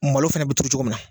Malo fɛnɛ bɛ turu cogo min na.